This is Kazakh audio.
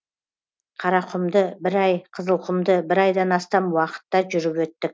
қарақұмды бір ай қызылқұмды бір айдан астам уақытта жүріп өттік